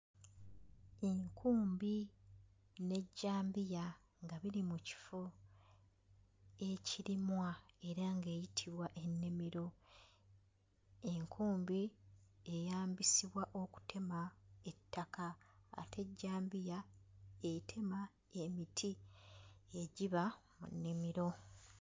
Enkumbi n'ejjambiya nga biri mu kifo ekirimwa era ng'eyitibwa ennimiro. Enkumbi eyambisibwa okutema ettaka ate ejjambiya etema emiti egiba mu nnimiro.